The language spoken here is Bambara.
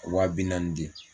Waa bi naani di